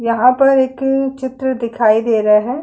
यहाँ पर एक चित्र दिखाई दे रहा है।